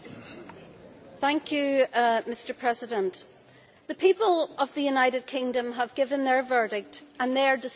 Mr President, the people of the United Kingdom have given their verdict and their decision cannot be rewritten.